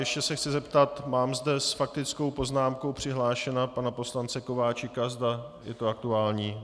Ještě se chci zeptat - mám zde s faktickou poznámkou přihlášeného pana poslance Kováčika, zda je to aktuální.